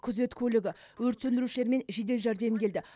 күзет көлігі өрт сөндірушілер мен жедел жәрдем келді